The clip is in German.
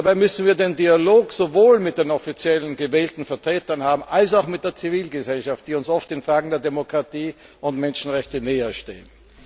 Dabei müssen wir den Dialog sowohl mit den offiziellen, gewählten Vertretern führen als auch mit denen der Zivilgesellschaft, die uns oft in Fragen der Demokratie und Menschenrechte näherstehen.